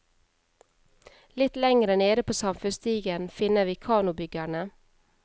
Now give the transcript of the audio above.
Litt lengre nede på samfunnsstigen finner vi kanobyggerne.